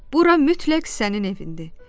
Bura mütləq sənin evindir.